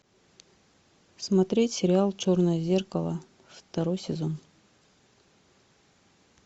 смотреть сериал черное зеркало второй сезон